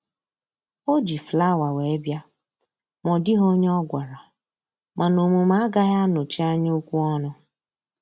O ji flawa wee bịa ma ọ dịghị onye ọ gwara, mana omume agaghị anọchi anya okwu ọnụ